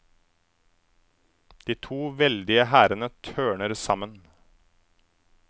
De to veldige hærene tørner sammen.